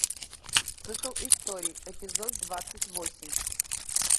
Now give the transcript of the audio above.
цикл историй эпизод двадцать восемь